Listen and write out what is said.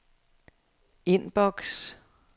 indboks